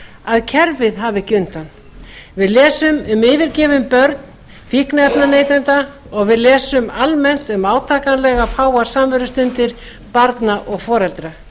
að kerfið hafi ekki undan við lesum um yfirgefin börn fíkniefnaneytenda og við lesum almennt um átakanlega fáar samverustundir barna og foreldra